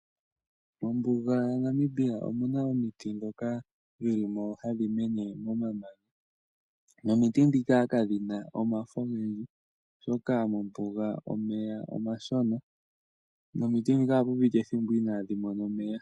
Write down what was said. Mombuga yaNamibia omuna omiti ndhoka dhi limo hadhi mene momamanya, nomiti ndhika kadhina omafo omanene oshoka mombuga omeya omashona, nomiti ndhika ohapu piti ethimbo inadhi mona omeya.